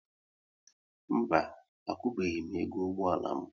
Mba, akwụbeghi m ego ụgbọala m